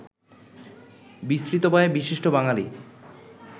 বিস্মৃতপ্রায় বিশিষ্ট বাঙালি